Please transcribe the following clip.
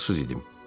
ağılsız idim.